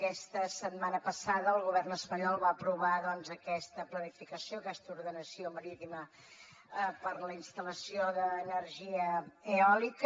aquesta setmana passada el govern espanyol va aprovar aquesta planificació aquesta ordenació marítima per a la instal·lació d’energia eòlica